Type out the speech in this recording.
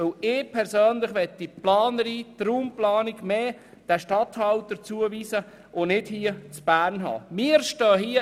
Ich persönlich möchte die Raumplanung stärker den Regierungsstatthaltern zuweisen, anstatt sie von Bern aus abzuwickeln.